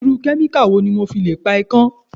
Irú kẹ́míkà wo ni mo fi le pa ikán?